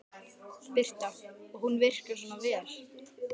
Birta: Og hún virkar svona vel?